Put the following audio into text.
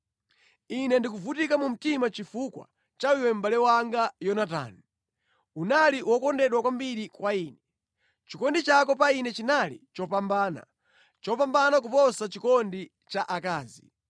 Ine ndikuvutika mumtima chifukwa cha iwe mʼbale wanga Yonatani, unali wokondedwa kwambiri kwa ine. Chikondi chako pa ine chinali chopambana, chopambana kuposa chikondi cha akazi.